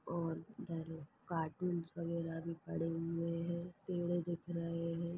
और इधर कार्टून्स वगैरह भी पड़े हुए है पेड़े दिख रहे है।